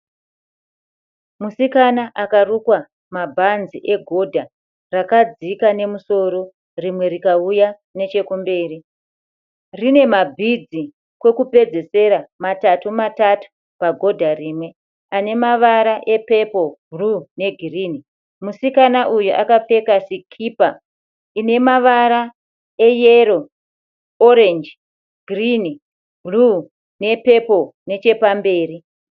Musikana akarukwa mabhanzi egodha. Rakadzika nemusoro rimwe rikauya nechekumberi. Rine mabhidzi kwekupedzesera matatu matatu pagodha rimwe, anemavara epepoo bhuruwu negirinhi. Musikana uyu akapfeka sikipa inemavara eyero, oreji girinhi, bhuruwu nechepamberi.